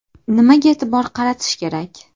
Nimaga e’tibor qaratish kerak?